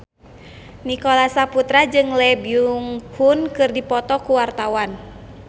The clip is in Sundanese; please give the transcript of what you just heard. Nicholas Saputra jeung Lee Byung Hun keur dipoto ku wartawan